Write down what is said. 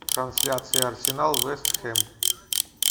трансляция арсенал вест хэм